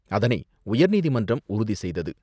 அதனை உயர்நீதிமன்றம் உறுதி செய்தது.